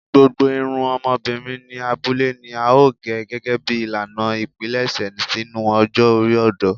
Gbogbo irun ọmọbirin ni abule ni ao ge gẹgẹbi ilana ipilẹṣẹ sinu ọjọ ori ọdọ